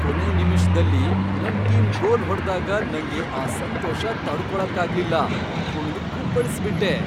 ಕೊನೆ ನಿಮಿಷ್ದಲ್ಲಿ ನನ್ ಟೀಮ್ ಗೋಲ್ ಹೊಡ್ದಾಗ ನಂಗೆ ಆ ಸಂತೋಷ ತಡ್ಕೊಳಕ್ಕಾಗ್ಲಿಲ್ಲ, ಕುಣ್ದ್ ಕುಪ್ಪಳ್ಸ್ಬಿಟ್ಟೆ.